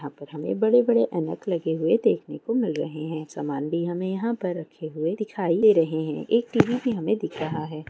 यहाँ पर हमें बड़े-बड़े ऐनक लगे हुए देखने को मिल रहे हैं सामन भी हमें यहाँ पे रखे हुए दिखाई दे रहे हैं एक टीवी भी हमें दिख रहा है।